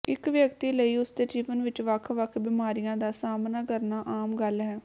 ਇੱਕ ਵਿਅਕਤੀ ਲਈ ਉਸਦੇ ਜੀਵਨ ਵਿੱਚ ਵੱਖ ਵੱਖ ਬਿਮਾਰੀਆਂ ਦਾ ਸਾਹਮਣਾ ਕਰਨਾ ਆਮ ਗੱਲ ਹੈ